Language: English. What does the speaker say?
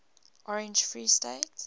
orange free state